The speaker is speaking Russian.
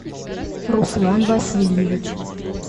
руслан васильевич